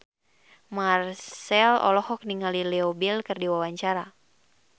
Marchell olohok ningali Leo Bill keur diwawancara